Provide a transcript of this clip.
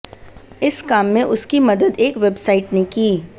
इस काम में उसकी मदद एक वेबसाइट ने की